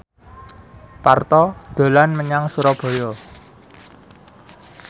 Parto dolan menyang Surabaya